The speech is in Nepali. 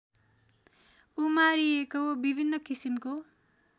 उमारिएको विभिन्न किसिमको